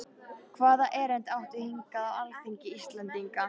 Hvaða erindi áttu hingað á alþingi Íslendinga?